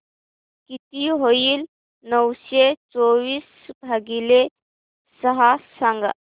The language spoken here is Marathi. किती होईल नऊशे चोवीस भागीले सहा सांगा